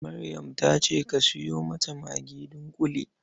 Maryam ta ce ka sayo mata magi dunƙule.